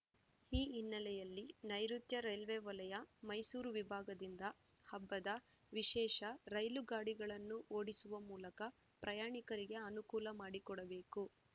ಈ ಹಿನ್ನೆಲೆಯಲ್ಲಿ ನೈಋುತ್ಯ ರೈಲ್ವೆ ವಲಯ ಮೈಸೂರು ವಿಭಾಗದಿಂದ ಹಬ್ಬದ ವಿಶೇಷ ರೈಲು ಗಾಡಿಗಳನ್ನು ಓಡಿಸುವ ಮೂಲಕ ಪ್ರಯಾಣಿಕರಿಗೆ ಅನುಕೂಲ ಮಾಡಿಕೊಡಬೇಕು